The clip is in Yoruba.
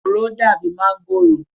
Òro dàbi máǹgòrò.